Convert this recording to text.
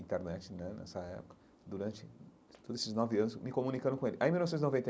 Internete né nessa época, durante todos esses nove anos, me comunicando com ele aí em mil novecentos e noventa.